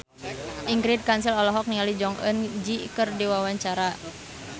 Ingrid Kansil olohok ningali Jong Eun Ji keur diwawancara